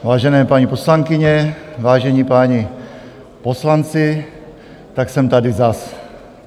Vážené paní poslankyně, vážení páni poslanci, tak jsem tady zas.